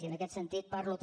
i en aquest sentit parlo també